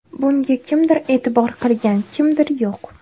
Bunga kimdir e’tibor qilgan, kimdir yo‘q.